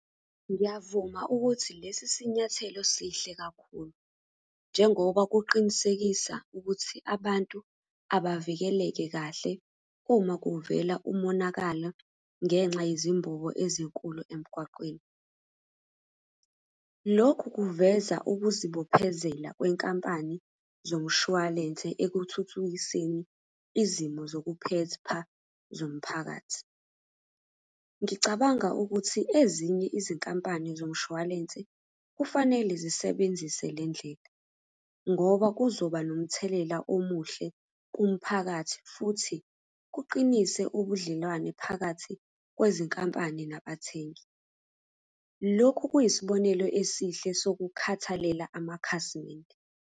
Ngiyavuma ukuthi lesi sinyathelo sihle kakhulu, njengoba kuqinisekisa ukuthi abantu abavikeleke kahle uma kuvela umonakalo ngenxa yizimbobo ezinkulu emgwaqweni. Lokhu kuveza ukuzibophezela kwenkampani zomshwalense ekuthuthukiseni izimo zokuphepha zomphakathi. Ngicabanga ukuthi ezinye izinkampani zomshwalense kufanele zisebenzise le ndlela, ngoba kuzoba nomthelela omuhle kumphakathi, futhi kuqinise ubudlelwane phakathi kwezinkampani nabathengi. Lokhu kuyisibonelo esihle sokukhathalela amakhasimende.